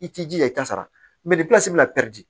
I t'i jija i t'a sara mɛ bɛna